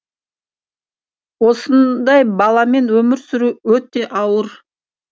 осындай баламен өмір сүру өте ауыр